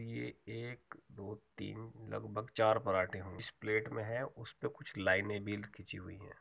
ये एक दो तीन लगभग चार पराठे जिस प्लेट में है उस में कुछ लाइनें भी खींची हुई हैं।